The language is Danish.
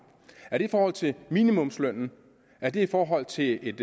er det i forhold til minimumslønnen er det i forhold til et